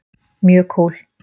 Mjög kúl.